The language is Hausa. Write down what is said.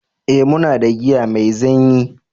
eh muna da giya mai zanyi